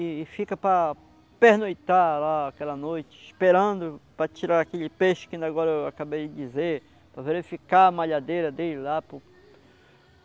E fica para pernoitar lá aquela noite, esperando para tirar aquele peixe que agora eu acabei de dizer, para verificar a malhadeira dele lá pô.